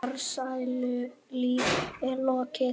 Farsælu lífi er lokið.